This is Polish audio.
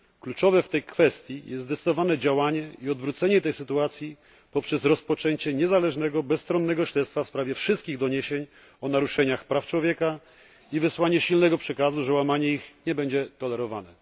Kluczowe w tej kwestii jest zdecydowane działanie i odwrócenie tej sytuacji poprzez rozpoczęcie niezależnego bezstronnego śledztwa w sprawie wszystkich doniesień o naruszeniach praw człowieka i wysłanie silnego przekazu, że łamanie tych praw nie będzie tolerowane.